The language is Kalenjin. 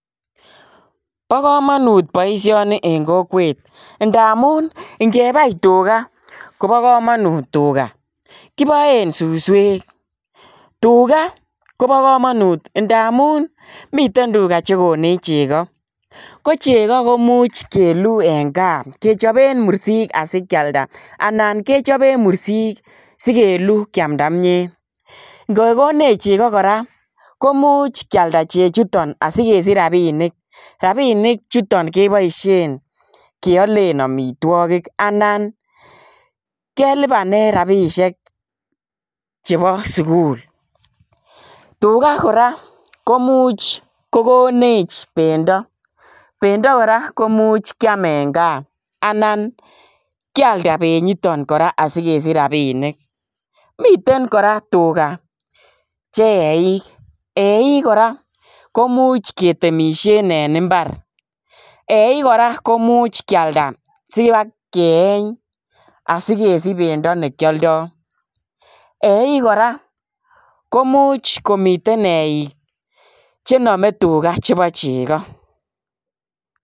Bo kamanut boisioni eng kokwet ngamun, ngebai tuga kobo kamanut tuga. Kiboen suswek. Tuga kobo kamanut ndamun miten tuga che konech chego, kochego komuch keluu en kaa kechopen mursik asikialda anan kechopen mursik sigelu kiamnda kimyet. Ngegonech chego kora komuch kialda chechuton asigesich rapinik. Rapinik chuton keboisien keolen amitwogik anan kelipanen rapisiek chepo sugul. Tuga kora komuch kogonech bendo. Bendo kora komuch kiam en kaa anan kialda benyiton kora asigesich rapinik. Miten kora tugache eik, eik kora komuch ketemisien en imbar. Eik kora komuch kialda siwakeeny asikesich bendo ne kialdo. Eik kora komuch komiten eik che name tuga che bo chego.